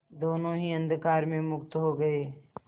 दोेनों ही अंधकार में मुक्त हो गए